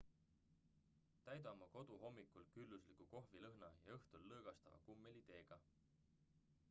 täida oma kodu hommikul küllusliku kohvilõhna ja õhtul lõõgastava kummeliteega